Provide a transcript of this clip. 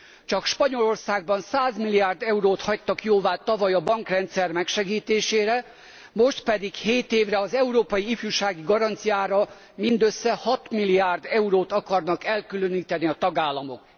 Csak Spanyolországban 100 milliárd eurót hagytak jóvá tavaly a bankrendszer megsegítésére, most pedig hét évre az európai ifjúsági garanciára mindössze 6 milliárd eurót akarnak elkülöníteni a tagállamok.